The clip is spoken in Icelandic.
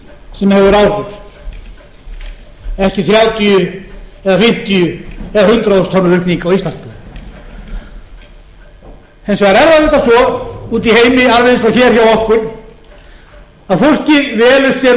sem hefur áhrif en ekki þrjátíu eða fimmtíu eða hundrað þúsund tonna aukning á íslandsmiðum hins vegar er það svo úti í heimi alveg eins og hér hjá okkur að fólkið velur sér